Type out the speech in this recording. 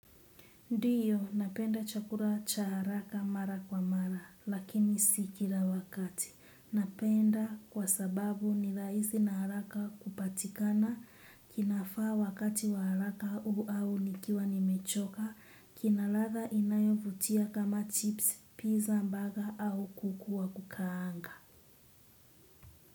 Ndiyo, napenda chakula cha haraka mara kwa mara, lakini sikila wakati. Napenda kwa sababu ni rahisi na haraka kupatikana, kinafaa wakati wa haraka au nikiwa nimechoka, kina ladha inayovutia kama chips, pizza, mbaga au kuku wa kukaanga.